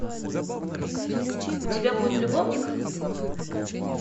у тебя будет любовник